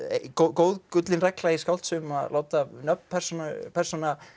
góð gullin regla í skáldsögum að láta nöfn persóna persóna